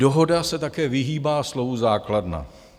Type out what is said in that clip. Dohoda se také vyhýbá slovu základna.